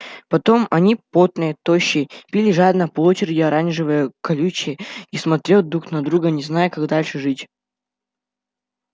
потом они потные тощие пили жадно по очереди оранжевое колючее и смотрел друг на друга не зная как дальше жить